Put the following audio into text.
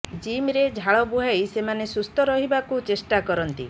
ଜିମ୍ରେ ଝାଳ ବୁହାଇ ସେମାନେ ସୁସ୍ଥ ରହିବାକୁ ଚେଷ୍ଟା କରନ୍ତି